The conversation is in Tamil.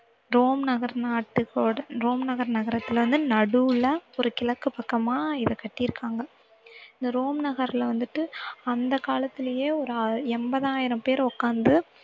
ரோம் நகர் நாட்டுக்கோட ரோம் நகர் நகரத்துல வந்து நடுவுல ஒரு கிழக்கு பக்கமா இத கட்டியிருக்காங்க இந்த ரோம் நகர்ல வந்துட்டு அந்த காலத்திலேயே ஒரு ஆர்~ எண்பதாயிரம் பேர் உட்கார்ந்து